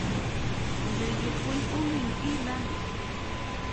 to be jopuonj ong'eyo elearning